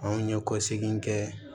Anw ye kɔsegin kɛ